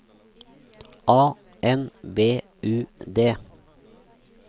A N B U D